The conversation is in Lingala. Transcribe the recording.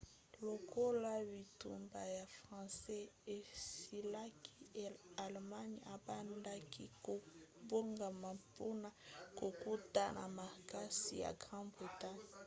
lokola bitumba ya france esilaki allemagne ebandaki kobongama mpona kokota na makasi na grande-bretagne